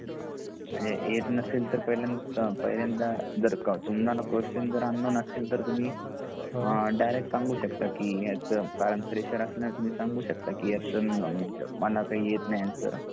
म्हणजे येत नसेल तर पहिल्यांदा तुम्हाला क्वेस्चन जर अनोन असेल तर तुम्ही डायरेक्ट सांगू शकता की ह्याचा कारण फ्रेशर असल्यामुळे तुम्ही सांगू शकता की मला काही येत नाही आन्सर